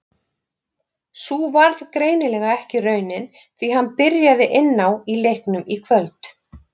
Sú varð greinilega ekki raunin því hann byrjaði inn á í leiknum í kvöld.